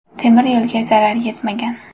Temir yo‘lga zarar etmagan.